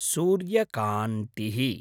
सूर्यकान्तिः